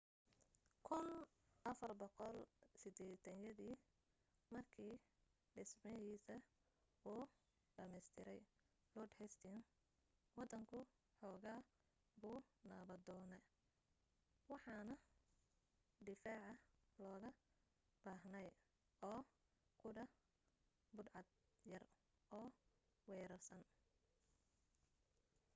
1480yadii markii dhismahiisa uu dhammaystiray lord hastings waddanku xoogaa buu nabdoonaa waxana difaaca looga baahnaa oo qudha budhcad yar oo wareersan